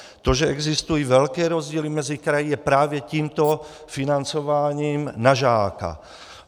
To, že existují velké rozdíly mezi kraji, je právě tímto financováním na žáka.